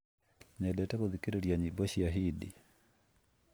nyendete gũthikĩrĩria nyĩmbo cia Hindi